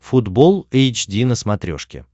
футбол эйч ди на смотрешке